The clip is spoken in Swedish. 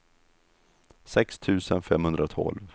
sex tusen femhundratolv